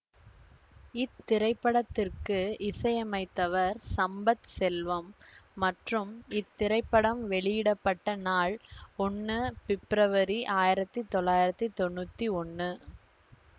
இத்திரைப்படத்திற்கு இசையமைத்தவர் சம்பத் செல்வம் மற்றும் இத்திரைப்படம் வெளியிட பட்ட நாள் ஒன்னு பிப்ரவரி ஆயிரத்தி தொள்ளாயிரத்தி தொன்னூத்தி ஒன்னு